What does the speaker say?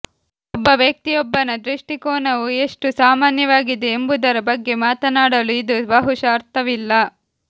ಒಬ್ಬ ವ್ಯಕ್ತಿಯೊಬ್ಬನ ದೃಷ್ಟಿಕೋನವು ಎಷ್ಟು ಸಾಮಾನ್ಯವಾಗಿದೆ ಎಂಬುದರ ಬಗ್ಗೆ ಮಾತನಾಡಲು ಇದು ಬಹುಶಃ ಅರ್ಥವಿಲ್ಲ